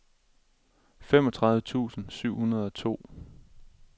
femogtredive tusind syv hundrede og to